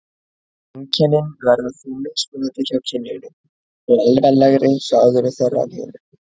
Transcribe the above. Einkennin verða því mismunandi hjá kynjunum og alvarlegri hjá öðru þeirra en hinu.